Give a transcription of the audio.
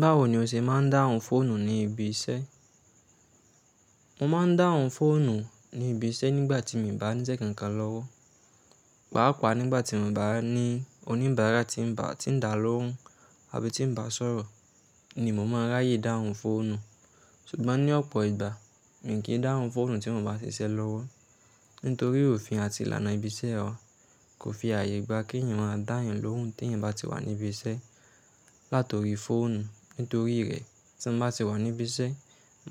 Báwo ni o ṣe máa ń dáhùn fóònù ní ibi iṣẹ́? Mo máa ń dáhùn fóònù ní ibi iṣẹ́ nígbà tí mí ń bàá níṣẹ́ kankan lọ́wọ́. Pàápàá nígbà tí mí ń bàá ní oníbàárà tí ń bàá, tí ń dá lóhùn àbí tí ń bàá sọ̀rọ̀ ni mo máa ráyè dáhùn fóònù. Ṣùgbọ́n ní ọ̀pọ̀ ìgbà, mi kì í dáhùn fóònù tí mo bàá ṣiṣẹ́ lọ́wọ́. Nítorí òfin àti ìlànà ibi iṣẹ́ ọ̀ kò fi ààyè gba kí èèyàn máa dá èèyàn lóhùn tí èèyàn bá ti wà ní ibi iṣẹ́. Látòrí fóònù, nítorí rẹ̀ tí mo bá ti wà ní ibi iṣẹ́,